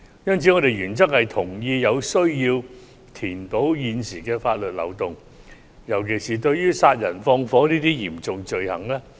因此，我們原則上同意有需要填補現時的法律漏洞，尤其是殺人放火等嚴重罪行。